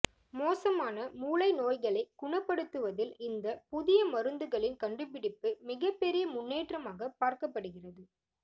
மோசமான மூளை நோய்களை குணப்படுத்துவதில் இந்த புதிய மருந்துகளின் கண்டுபிடிப்பு மிகப்பெரிய முன்னேற்றமாக பார்க்கப்படுகிறது